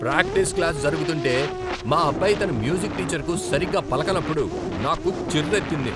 Practice class జరుగుతుంటే మా అబ్బాయి తన మ్యూజిక్ టీచర్కు సరిగా పలకనప్పుడు నాకు చిర్రెత్తింది.